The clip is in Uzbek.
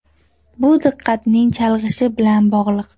Bu diqqatning chalg‘ishi bilan bog‘liq.